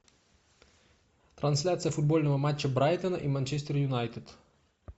трансляция футбольного матча брайтон и манчестер юнайтед